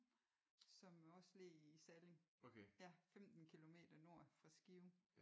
Som også ligger i Salling ja 15 kilometer nord for Skive